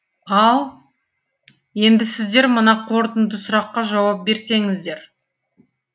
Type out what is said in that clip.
ал енді сіздер мына қорытынды сұраққа жауап берсеңіздер